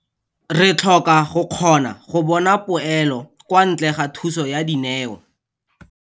Re tlhoka go kgona go bona poelo kwa ntle ga thuso ya dineo.